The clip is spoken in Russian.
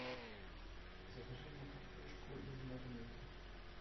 закажи мне картошку из магнита